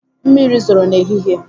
Mmiri zoro n'ehihie.